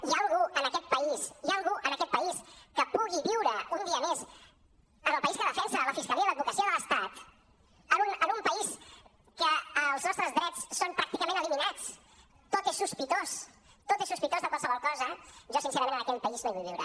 hi ha algú en aquest país hi ha algú en aquest país que pugui viure un dia més en el país que defensen la fiscalia i l’advocacia de l’estat en un país en què els nostres drets són pràcticament eliminats tot és sospitós tot és sospitós de qualsevol cosa jo sincerament en aquell país no hi vull viure